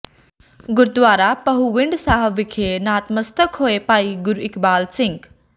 ਗੁਰਦੁਆਰਾ ਪਹੂਵਿੰਡ ਸਾਹਿਬ ਵਿਖੇ ਨਤਮਸਤਕ ਹੋਏ ਭਾਈ ਗੁਰਇਕਬਾਲ ਸਿੰਘ